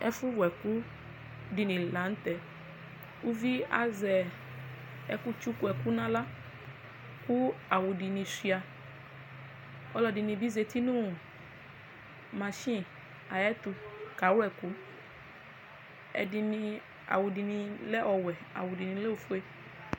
Ɛfʋwʋ ɛkʋ dini lanʋ tɛ ʋvi azɛ ɛkʋtsʋkʋ ɛkʋ nʋ aɣla kʋ awʋ dini suia ɔlɔdini bi zati nʋ mashin ayʋ ɛtʋ kʋ akawlɛ ɛkʋ awʋ dini lɛ ɔwʋɛ awʋ dini lɛ ofue